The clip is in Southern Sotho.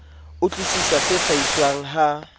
utlwi sisa se hlahiswang ha